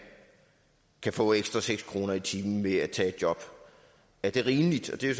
kan få ekstra seks kroner i timen ved at tage et job er det rimeligt det er